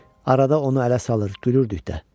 Arada onu ələ salır, gülürdük də.